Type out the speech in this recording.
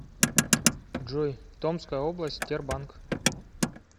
джой томская область тербанк